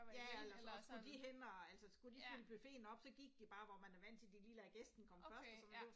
Ja eller sådan og skulle de hen og altså skulle de fylde buffeten op så gik de bare hvor man er vant til de lader gæsten komme først og sådan det var